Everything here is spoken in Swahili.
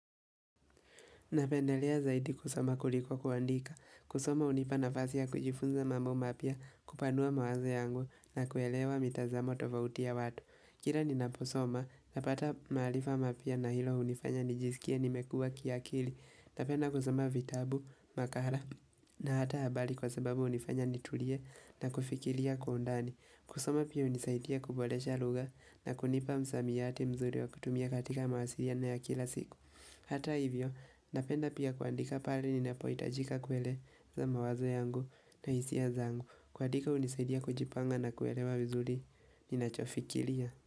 Napendelea zaidi kusoma kuliko kuandika. Kusoma hunipa nafasi ya kujifunza mambo mapya kupanua mawazo yangu na kuelewa mitazamo tofauti ya watu. Kira ninaposoma, napata maarifa mapya na hilo hunifanya nijisikie nimekua kiakili. Napenda kusoma vitabu, makara na hata habali kwa sababu hunifanya nitulie na kufikilia kwa undani. Kusoma pia hunisaitia kubolesha lugha na kunipa msamiati mzuri wa kutumia katika mawasiriano ya kila siku. Hata hivyo, napenda pia kuandika pare ninapoitajika kueleza mawazo yangu na hisia zangu. Kuadika hunisaidia kujipanga na kuelewa vizuli, ninachofikilia.